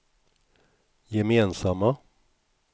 gemensamma